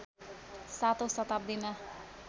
सातौं शताब्दीमा